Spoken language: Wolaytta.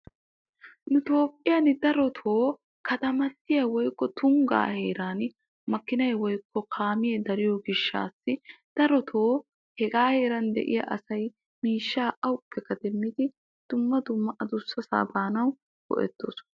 Nu Toophphiyan darotoo katamattiyaa woykko tunggaa heeran makinay woykko kaamee dariyoo gishshaassi darotoo hegaa heeran de'iyaa asay miishshaa awuppekka demmidi dumma dumma adussasaa baanaw go'ettoosona.